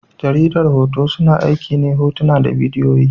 Jaridar hoto, suna aiki ne hotuna da bidiyoyi.